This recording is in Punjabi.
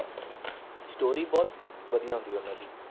Story ਬਹੁਤ ਵਧੀਆ ਹੁੰਦੀ ਆ ਉਹਨਾਂ ਦੀ।